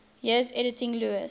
years editing lewes's